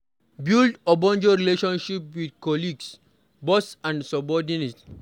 Build ogbonge relationship with colleagues, boss and subordinate